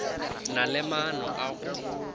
na le maano a go